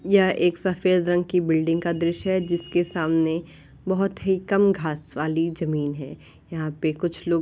यह एक सफेद रंग की बिल्डिंग का दृश्य है। जिसके सामने बहुत कम घास वाली जमीन है। यहां पे कुछ लोग --